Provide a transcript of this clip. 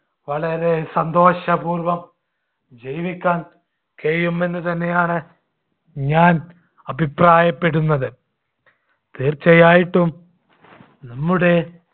വളരെ സന്തോഷപൂർവ്വം ജീവിക്കാൻ കഴിയുമെന്ന് തന്നെയാണ് ഞാൻ അഭിപ്രായപ്പെടുന്നത്. തീർച്ചയായിട്ടും നമ്മുടെ